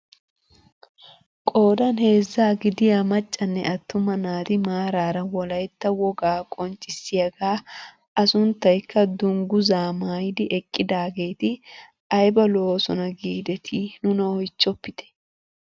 Qoodan heezzaa gidiyaa maccanne attuma naati maarara wolaytta wogaa qonccisiyaaga a sunttayikka dunguzzaa maayidi eqqidaageti ayba lo"oosona giidetii nuna oychchpitte!